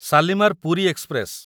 Shalimar Puri express